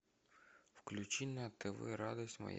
включи на тв радость моя